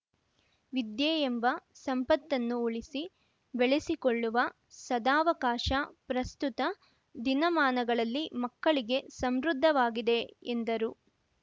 ವಿದ್ಯೆಯೆಂಬ ಸಂಪತ್ತನ್ನು ಉಳಿಸಿ ಬೆಳೆಸಿಕೊಳ್ಳುವ ಸದಾವಕಾಶ ಪ್ರಸ್ತುತ ದಿನಮಾನಗಳಲ್ಲಿ ಮಕ್ಕಳಿಗೆ ಸಮೃದ್ಧವಾಗಿದೆ ಎಂದರು